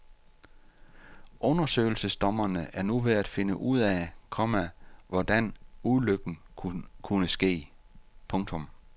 Undersøgelsesdommerne er nu ved at finde ud af, komma hvordan ulykken kunne ske. punktum